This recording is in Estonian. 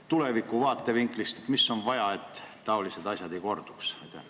Tuleviku vaatevinklist: mida on vaja, et taolised asjad ei korduks?